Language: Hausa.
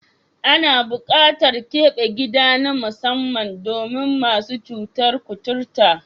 Ana buƙatar keɓe gida na musamman domin masu cutar kuturta.